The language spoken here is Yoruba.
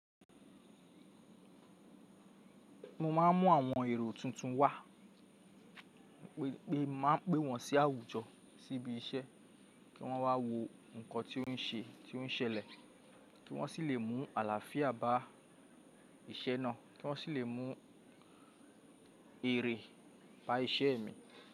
Mo máà ń mú àwọn èrò tuntun wá, pé máa ń pe wọn sí àwùjọ, sí ibi iṣẹ́, kí wọ́n wá wo nǹkan tí ó ń ṣe, tí ó ń ṣẹlẹ̀, kí wọ́n sì lè mú àlàáfíà bá iṣẹ́ náà, kí wọ́n sì lè mú èrè bá iṣẹ́ mi.